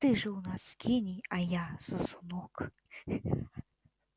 ты же у нас гений а я сосунок